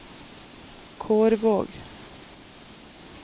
Kårvåg